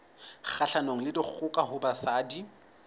kgahlanong le dikgoka ho basadi